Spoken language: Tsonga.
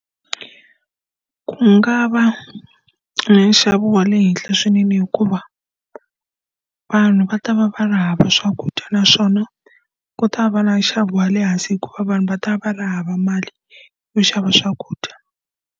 Ku nga va na nxavo wa le henhla swinene hikuva, vanhu va ta va va ri hava swakudya naswona ku ta va na nxavo wa le hansi hikuva vanhu va ta va ri hava mali yo xava swakudya.